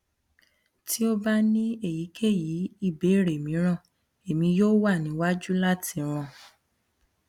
ti o ba ni eyikeyi ibeere miiran emi yoo wa niyanju lati ran